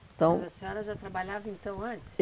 Então, mas a senhora já trabalhava então antes?